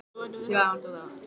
Íslandsbikarinn á lofti